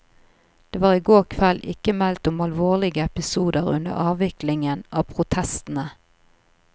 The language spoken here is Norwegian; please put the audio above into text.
Det var i går kveld ikke meldt om alvorlige episoder under avviklingen av protestene.